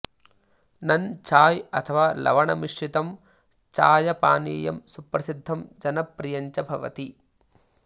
नन् चाय् अथवा लवण मिश्रितं चायपानीयं सुप्रसिद्धं जनप्रियञ्च भवति